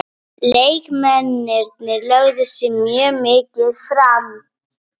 Leikmennirnir lögðu sig mjög mikið fram.